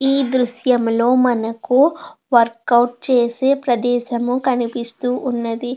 ఈ దృశ్యంలో మనకి వర్క్ అవుట్ చేసే ప్రదేశములు కనిపిస్తూ ఉన్నది.